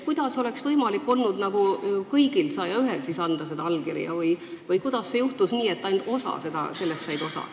Kuidas oleks võimalik olnud kõigil 101-l anda allkiri või kuidas juhtus nii, et ainult mõned said sellest osa?